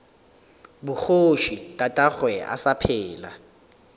bogoši tatagwe a sa phela